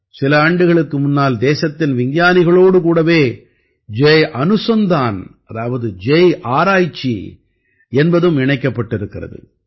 சில ஆண்டுகளுக்கு முன்னால் தேசத்தின் விஞ்ஞானிகளோடு கூடவே ஜய் அனுசந்தான் அதாவது ஜய் ஆராய்ச்சி என்பதும் இணைக்கப்பட்டிருக்கிறது